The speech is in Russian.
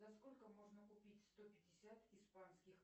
за сколько можно купить сто пятьдесят испанских